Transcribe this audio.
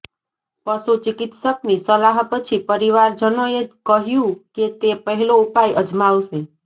પશુ ચિકિત્સકની સલાહ પછી પરીવાર જનોએ કહ્યું કે તે પહેલો ઉપાય અજમાવશે